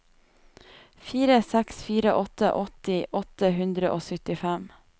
fire seks fire åtte åtti åtte hundre og syttifem